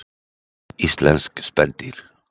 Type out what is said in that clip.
Íslensk spendýr.